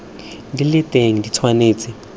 di le teng di tshwanetse